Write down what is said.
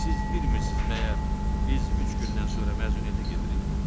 Ay siz bilmirsiniz məyər, biz üç gündən sonra məzuniyyətə gedirik?